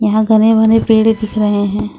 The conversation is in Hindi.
यहां घने भने पेड़ दिख रहे हैं।